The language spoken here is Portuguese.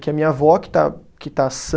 Que a minha avó, que está, que está sã.